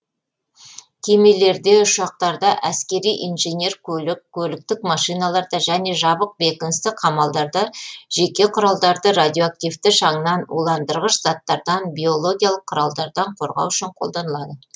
кемелерде ұшақтарда әскери инженер көлік көліктік машиналарда және жабық бекіністі қамалдарда жеке құралдарды радиоактивті шаңнан уландырғыш заттардан биологиялық құралдардан қорғау үшін қолданылады